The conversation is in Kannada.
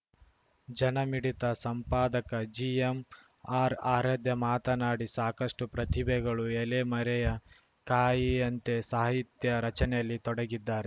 ಜನಮಿಡಿತ ಸಂಪಾದಕ ಜಿಎಂಆರ್‌ಆರಾಧ್ಯ ಮಾತನಾಡಿ ಸಾಕಷ್ಟುಪ್ರತಿಭೆಗಳು ಎಲೆ ಮರೆಯ ಕಾಯಿಯಂತೆ ಸಾಹಿತ್ಯ ರಚನೆಯಲ್ಲಿ ತೊಡಗಿದ್ದಾರೆ